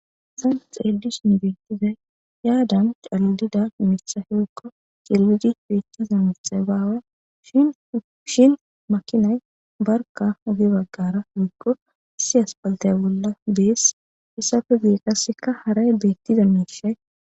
san x eedish ni bettizay yaadan callida mithaheekko cellidi beettiza mitha baawe shshin makinay barka ogi baggara gigko si aspaltaya bolla dees issafe geekaseka haray beettiza miishay